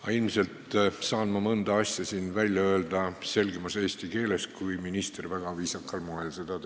Aga ilmselt saan ma mõne asja siin välja öelda selgemas eesti keeles kui minister, kes seda väga viisakal moel tegi.